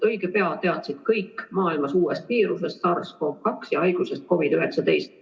Õige pea teadsid kõik maailmas uuest viirusest SARS-CoV-2 ja haigusest COVID-19.